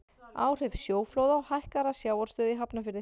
áhrif sjóflóða og hækkaðrar sjávarstöðu í hafnarfirði